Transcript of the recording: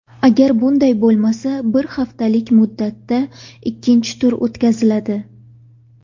Agar bunday bo‘lmasa, bir haftalik muddatda ikkinchi tur o‘tkaziladi.